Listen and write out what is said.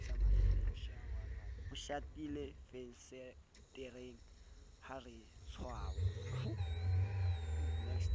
ho shatilefensetereng ha re tswaa